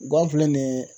Gafe filɛ nin ye